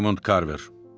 Raymond Carver.